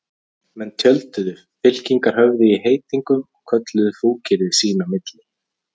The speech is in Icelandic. Menn tjölduðu, fylkingarnar höfðu í heitingum og kölluðu fúkyrði sín á milli.